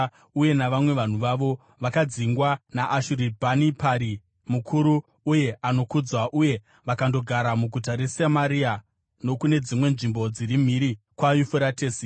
uye navamwe vanhu avo vakadzingwa naAshuribhanipari mukuru uye anokudzwa, uye vakandogara muguta reSamaria nokune dzimwe nzvimbo dziri mhiri kwaYufuratesi.